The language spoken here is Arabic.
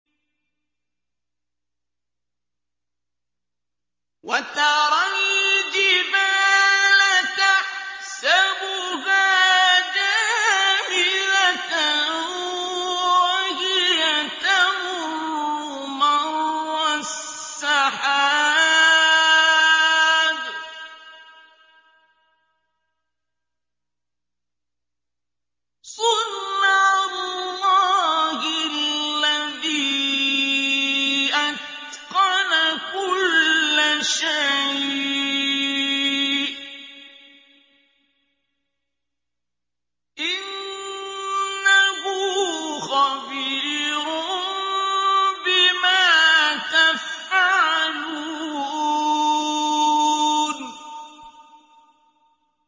وَتَرَى الْجِبَالَ تَحْسَبُهَا جَامِدَةً وَهِيَ تَمُرُّ مَرَّ السَّحَابِ ۚ صُنْعَ اللَّهِ الَّذِي أَتْقَنَ كُلَّ شَيْءٍ ۚ إِنَّهُ خَبِيرٌ بِمَا تَفْعَلُونَ